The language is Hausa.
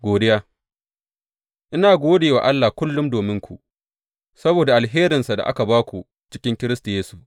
Godiya Ina gode wa Allah kullum dominku, saboda alherinsa da aka ba ku a cikin Kiristi Yesu.